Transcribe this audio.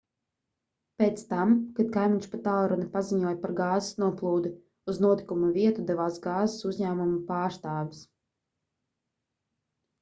pēc tam kad kaimiņš pa tālruni paziņoja par gāzes noplūdi uz notikuma vietu devās gāzes uzņēmuma pārstāvis